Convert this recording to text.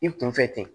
I kunfɛ ten